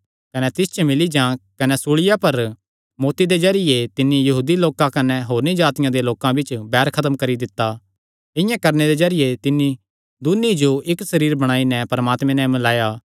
कने सूल़िया पर मौत्ती दे जरिये तिन्नी यहूदी लोकां कने होरनी जातिआं दे लोकां बिच्च बैर खत्म करी दित्ता इआं करणे दे जरिये तिन्नी दून्नी जो इक्क सरीर बणाई नैं परमात्मे नैं मिल्लाया